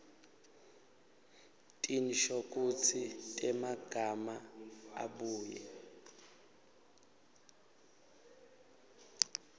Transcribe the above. tinshokutsi temagama abuye